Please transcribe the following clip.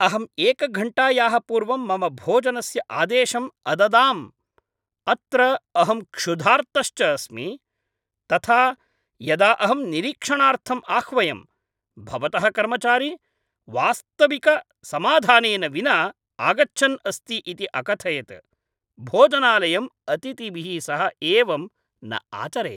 अहं एकघण्टायाः पूर्वं मम भोजनस्य आदेशम् अददां, अत्र अहं क्षुधार्तश्च अस्मि। तथा यदा अहं निरीक्षणार्थम् आह्वयं, भवतः कर्मचारी वास्तविकसमाधानेन विना आगच्छन् अस्ति इति अकथयत्। भोजनालयम् अतिथिभिः सह एवं न आचरेत्।